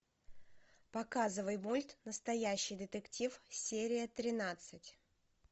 показывай мульт настоящий детектив серия тринадцать